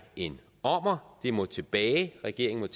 en ommer det må tilbage regeringen